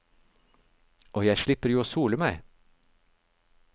Og jeg slipper jo å sole meg.